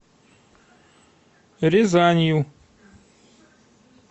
рязанью